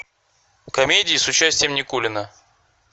комедии с участием никулина